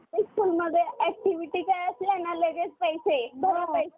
english schoolमध्ये activity काय असले ना लगेच पैसे भर पैसे